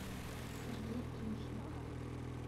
сергей трухин